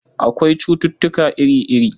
Akwai cututtuka iri-iri.